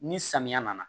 Ni samiya nana